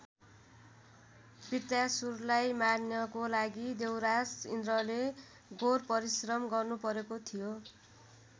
बृतासुरलाई मार्नको लागि देवराज इन्द्रले घोर परिश्रम गर्नु परेको थियो।